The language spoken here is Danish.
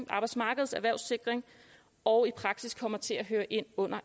arbejdsmarkedets erhvervssikring og i praksis kommer til at høre ind under